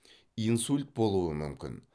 инсульт болуы мүмкін